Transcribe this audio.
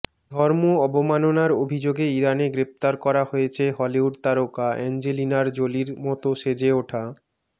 ধর্ম অবমাননার অভিযোগে ইরানে গ্রেপ্তার করা হয়েছে হলিউড তারকা অ্যাঞ্জেলিনার জোলির মত সেজে ওঠা